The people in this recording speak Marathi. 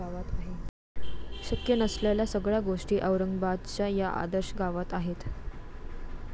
शक्य नसलेल्या सगळ्या गोष्टी औरंगाबादच्या या 'आदर्श' गावात आहेत!